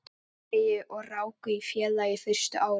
Noregi og ráku í félagi fyrstu árin.